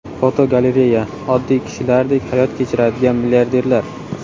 Fotogalereya: Oddiy kishilardek hayot kechiradigan milliarderlar.